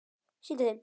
Sýndu þeim!